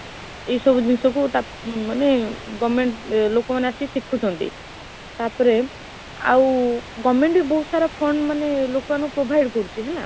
ଏଇ ସବୁ ଜିନିଷ କୁ ମାନେ government ଏ ଲୋକମାନେ ଆସିକି ଶିଖୁଛନ୍ତି, ତାପରେ ଆଉ government ବି ବହୁତ ସାରା fund ମାନେ ଲୋକ ମାନଙ୍କୁ provide କରୁଇଛି ହେଲା?